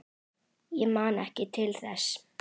Ég man ekki til þess?